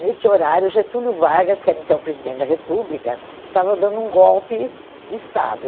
Neste horário, Getúlio Vargas, que era então presidente da República, estava dando um golpe de Estado.